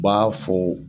U b'a fɔ